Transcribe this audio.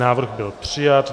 Návrh byl přijat.